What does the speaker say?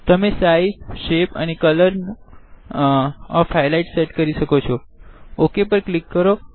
તમે size shape અને colour નિ હાઈલાઈટ સેટ કરી શકો છોOK પર ક્લિક કરો